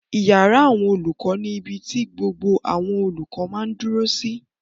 Ìyàrá àwọn olùkọ́ ni ibi ti gbogbo àwọn olùkọ́ máa dúró sí